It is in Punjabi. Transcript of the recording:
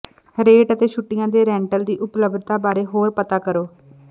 ਰੇਟ ਅਤੇ ਛੁੱਟੀਆਂ ਦੇ ਰੈਂਟਲ ਦੀ ਉਪਲਬਧਤਾ ਬਾਰੇ ਹੋਰ ਪਤਾ ਕਰੋ